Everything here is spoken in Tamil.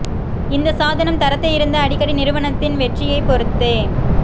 இந்த சாதனம் தரத்தை இருந்து அடிக்கடி நிறுவனத்தின் வெற்றியைப் பொருத்தே